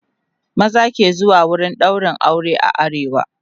maza ke zuwa wurin ɗaurin aure a arewa